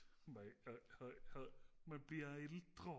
man bliver ældre